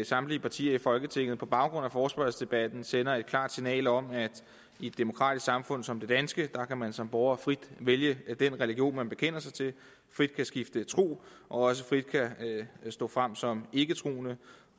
at samtlige partier i folketinget på baggrund af forespørgselsdebatten sender et klart signal om at i et demokratisk samfund som det danske kan man som borger frit vælge den religion man bekender sig til frit skifte tro og også frit stå frem som ikketroende